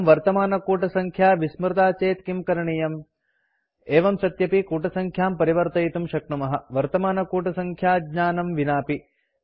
परं वर्तमानकूटसङ्ख्या विस्मृता चेत् किं करणीयम् एवं सत्यपि कूटसङ्ख्यां परिवर्तयितुं शक्नुमः वर्तमानकूटसङ्ख्याज्ञानं विनापि